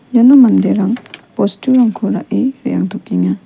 iano manderang bosturangko ra·e re·angtokenga.